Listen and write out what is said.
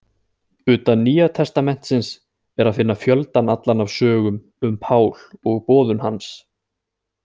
Utan Nýja testamentisins er að finna fjöldann allan af sögum um Pál og boðun hans.